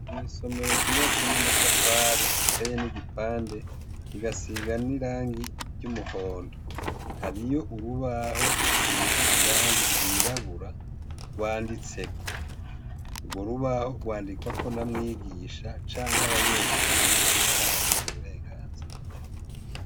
Mw'isomero ryubatse n'amatafari, riteyemwo ibipande, rigasiga n'irangi ry'umuhondo. Hariyo urubaho rusize irangi ryirabura, rwanditseko. Urwo rubaho rwandikwako na mwigisha canke abanyeshure abibahaye uburenganzira.